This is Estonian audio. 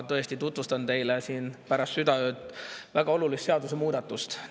Ma tutvustan teile väga olulist seadusemuudatust.